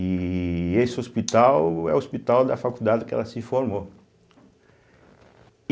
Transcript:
E esse hospital é o hospital da faculdade que ela se formou.